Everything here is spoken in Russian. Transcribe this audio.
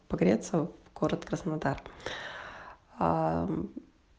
погрется в город краснодар ээ